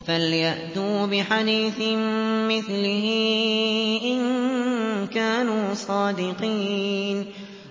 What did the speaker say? فَلْيَأْتُوا بِحَدِيثٍ مِّثْلِهِ إِن كَانُوا صَادِقِينَ